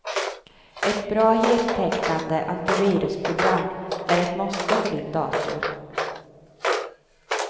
Ett bra, heltäckande antivirusprogram är ett måste för din dator.